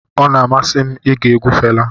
Ọ na-amasị m ige egwu Fela.